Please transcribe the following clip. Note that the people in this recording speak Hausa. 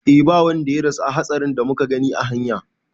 E ba wanda ya rasu a hatsarin da muka gani a hanya